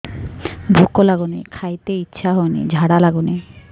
ଭୁକ ଲାଗୁନି ଖାଇତେ ଇଛା ହଉନି ଝାଡ଼ା ଲାଗୁନି